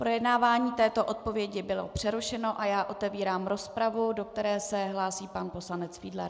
Projednávání této odpovědi bylo přerušeno a já otevírám rozpravu, do které se hlásí pan poslanec Fiedler.